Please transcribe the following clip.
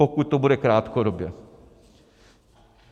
Pokud to bude krátkodobě.